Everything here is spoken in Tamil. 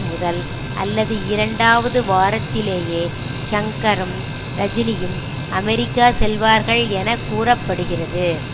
முதல் அல்லது இரண்டாவது வாரத்திலேயே ஷங்கரும் ரஜினியும் அமெரிக்கா செல்வார்கள் என கூற படுகிறது